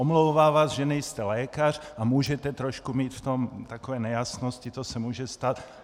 Omlouvá vás, že nejste lékař a můžete trošku mít v tom takové nejasnosti, to se může stát.